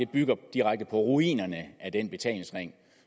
bygger direkte på ruinerne af den betalingsring